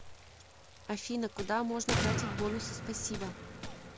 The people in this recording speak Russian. афина куда можно тратить бонусы спасибо